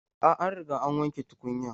A'a, an riga an wanke tukunyan.